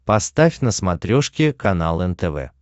поставь на смотрешке канал нтв